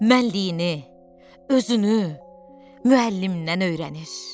Mənliyini, özünü müəllimdən öyrənir.